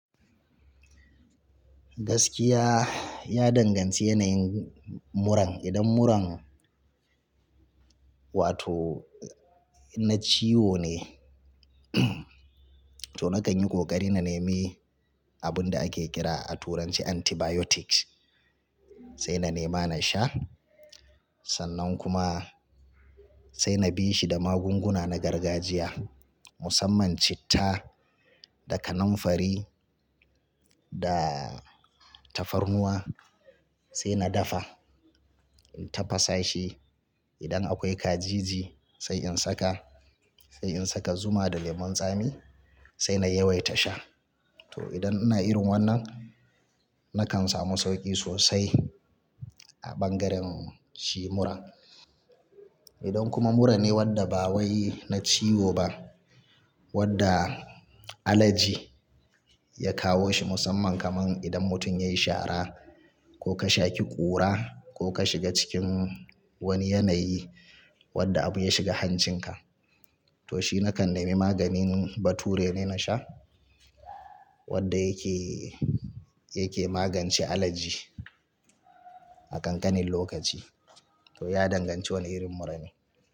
Gaskiya ya danganci yanayin muran. Idan muran wato na ciwo ne, to nakan yi kokari na nemi abun da ake kira a turanci antibiotics, sai na nema na sha. Sannan kuma sai na bi shi da magunguna na gargajiya musamman citta, da kanamfari, da tafarnuwa sai na dafa in tafasa shi. Idan akwai kaji sai in saka, sai in saka zuma da lemun tsami sai na yawaita sha. To idan ina irin wannan nakan samu sauƙi sosai a ɓangaren shi muran. Idan kuma muran ne wadda ba wai na ciwo ba, wadda alerji ya kawo shi musamman kaman idan mutum ya yi shara ko ka shaki ƙura ko ka shiga cikin wani yanayi wadda abu ya shiga hancinka, to shi nakan nemi maganin Bature ne na sha wadda yake, yake magance alerji a kankanin lokaci. To ya danganci wane irin mura ne.